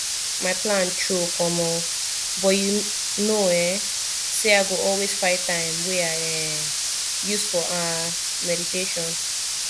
my plan choke omo but you know um say i go always find time wey i um use for ah meditation